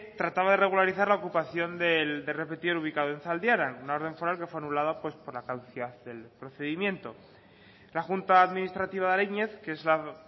trataba de regularizar la ocupación del repetidor ubicado en zaldiaran una orden foral que fue anulada por la caducidad del procedimiento la junta administrativa de ariñez que es la